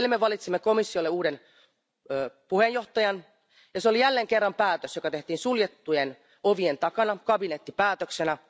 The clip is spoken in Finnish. Eilen me valitsimme komissiolle uuden puheenjohtajan, ja se oli jälleen kerran päätös, joka tehtiin suljettujen ovien takana kabinettipäätöksenä.